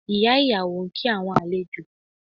Ìyá ìyàwó ń kí àwọn àlejò